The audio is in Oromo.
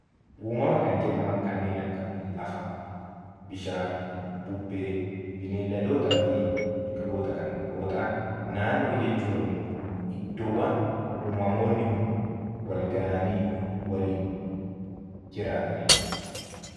Uumamuma kan jedhaman kanneen akka lafa, Gaara, bubbee, beeyladootaa fi biqiloota yoo ta'an naannoo jechuun immoo iddoowwan uumamoonni kun wal gahanii waliin jiraatanidha.